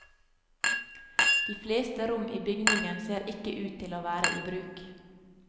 De fleste rom i bygningen ser ikke ut til å være i bruk.